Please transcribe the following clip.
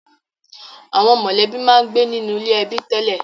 Àwọn mọ̀lẹ́bí máa ń gbé nínú ilé ẹbí tẹ́lẹ̀